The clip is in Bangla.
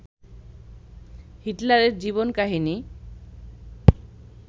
হিটলারের জীবন কাহিনী